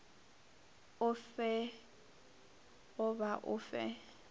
o fe goba o fe